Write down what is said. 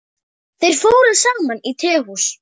Þeir fóru saman á tehús.